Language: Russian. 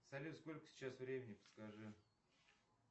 салют сколько сейчас времени подскажи